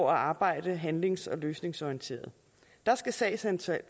arbejde handlings og løsningsorienteret der skal sagsantallet